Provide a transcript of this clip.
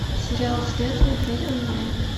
сериал след смотреть онлайн